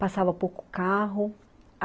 Passava pouco carro.